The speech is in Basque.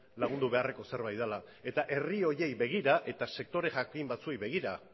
lagundu beharreko zerbait dela eta herri horiei begira eta sektore jakin batzuei begira